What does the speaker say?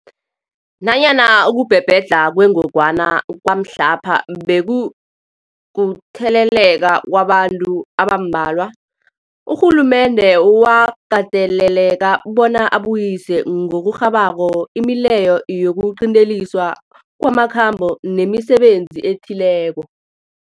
Nanyana ukubhebhedlha kwengogwana kwamhlapha bekukutheleleka kwabantu abambalwa, urhulumende wakateleleka bona abuyise ngokurhabako imileyo yokuqinteliswa kwamakhambo nemisebenzi ethileko.